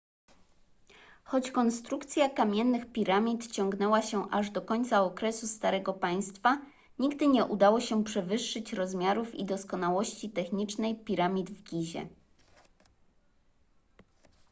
choć konstrukcja kamiennych piramid ciągnęła się aż do końca okresu starego państwa nigdy nie udało się przewyższyć rozmiarów i doskonałości technicznej piramid w gizie